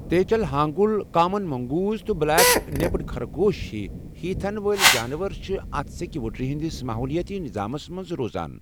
تیچل حانگل ,common mongoose, تہٕ black naped خرگوش ہِوی ہی تھن وٲلہِ جانور چھِ اتھ سیٚکہِ وٕڈرِ ہٕنٛدِس ماحولٲاتی نِظامس منٛز روزان۔